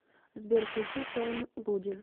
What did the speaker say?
сбер включи фэйм гуди